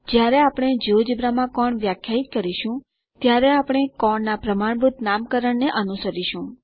આપણે કોણ ના પ્રમાણભૂત નામકરણ ને અનુસરીશું જ્યારે આપણે જિયોજેબ્રા માં કોણ વ્યાખ્યાયિત કરીશું